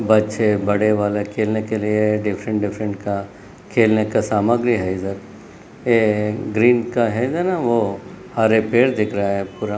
बच्चे बड़े वाले खेलने के लिए डिफ्रंट-डिफ्रंट का खेलने का सामग्री है इधर ये हरे पेड दिख रहे है पुरा।